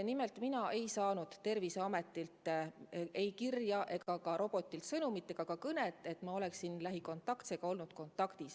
Nimelt mina ei saanud Terviseametilt kirja ega ka robotilt sõnumit ega ka kõnet, et ma oleksin haigega lähikontaktis olnud.